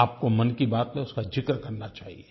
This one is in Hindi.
आपको मन की बात में उसका ज़िक्र करना चाहिये